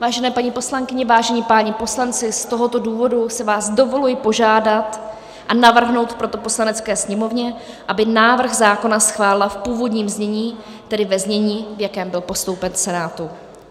Vážené paní poslankyně, vážení páni poslanci, z tohoto důvodu si vás dovoluji požádat a navrhnout proto Poslanecké sněmovně, aby návrh zákona schválila v původním znění, tedy ve znění, v jakém byl postoupen Senátu.